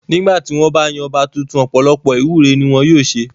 Nígbà tí wọ́n bá ń yan ọba tuntun ọ̀pọ̀lọpọ̀ ìwúre ni wọn yóò ṣe.